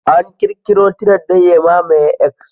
An ƙirkiro "Tired" don ya mamaye "X".